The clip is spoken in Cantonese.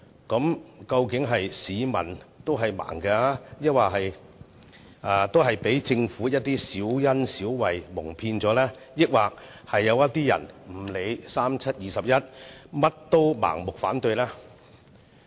那究竟市民是盲的，被政府的小恩小惠蒙騙，還是某些人無論如何也要盲目反對呢？